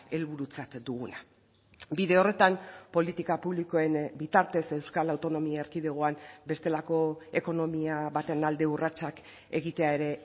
helburutzat duguna bide horretan politika publikoen bitartez euskal autonomia erkidegoan bestelako ekonomia baten alde urratsak egitea ere